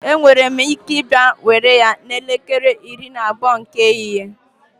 Enwere m ike ịbịa were ya n'elekere iri na abụọ nke ehihie